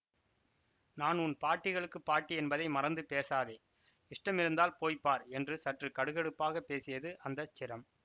நான் உன் பாட்டிகளுக்கு பாட்டி என்பதை மறந்து பேசாதே இஷ்டமிருந்தால் போய் பார் என்று சற்று கடுகடுப்பாகப் பேசியது அந்த சிரம்